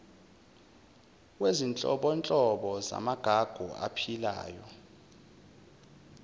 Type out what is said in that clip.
wezinhlobonhlobo zamagugu aphilayo